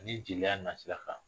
Ni jeliya nasira kan.